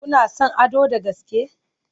Kuna son Ado da gaske?